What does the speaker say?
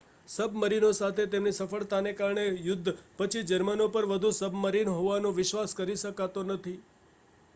સબમરીનોસાથે તેમની સફળતાને કારણે યુદ્ધ પછી જર્મનો પર વધુ સબમરીન હોવાનો વિશ્વાસ કરી શકાતો નથી